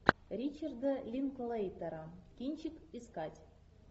ричарда линклейтера кинчик искать